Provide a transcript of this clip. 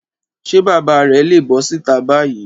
Ṣé bàbá rẹ̀ le bọ́ síta báyìí?